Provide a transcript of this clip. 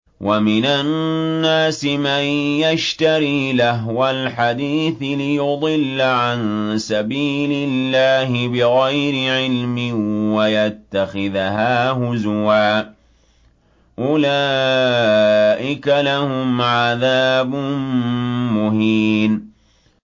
وَمِنَ النَّاسِ مَن يَشْتَرِي لَهْوَ الْحَدِيثِ لِيُضِلَّ عَن سَبِيلِ اللَّهِ بِغَيْرِ عِلْمٍ وَيَتَّخِذَهَا هُزُوًا ۚ أُولَٰئِكَ لَهُمْ عَذَابٌ مُّهِينٌ